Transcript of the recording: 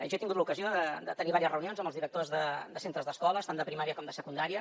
jo he tingut l’ocasió de tenir vàries reunions amb els directors de centres d’escoles tant de primària com de secundària